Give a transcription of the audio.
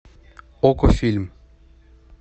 окко фильм